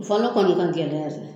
Fɔlɔ kɔni o ka gɛlɛya de.